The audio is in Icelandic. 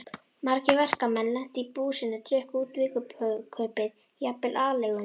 Margir verkamenn lentu í búsinu, drukku út vikukaupið, jafnvel aleiguna.